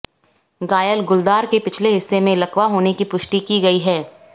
घायल गुलदार के पिछले हिस्से में लकवा होने की पुष्टि की गई है